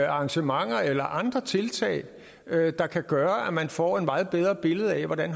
arrangementer eller andre tiltag der kan gøre at man får et meget bedre billede af hvordan